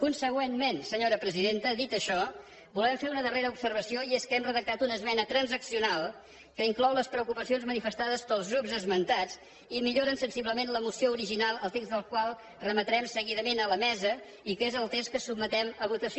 consegüentment senyora presidenta dit això volem fer una darrera observació i és que hem redactat una esmena transaccional que inclou les preocupacions manifestades pels grups esmentats i millora sensiblement la moció original el text del qual remetrem seguidament a la mesa i que es el text que sotmetem a votació